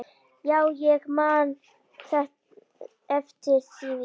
Já, ég man eftir því.